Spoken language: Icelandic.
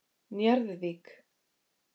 Njarðvík